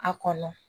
A kɔnɔ